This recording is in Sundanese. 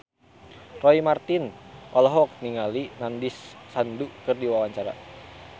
Roy Marten olohok ningali Nandish Sandhu keur diwawancara